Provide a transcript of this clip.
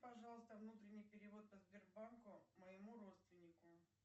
пожалуйста внутренний перевод по сбербанку моему родственнику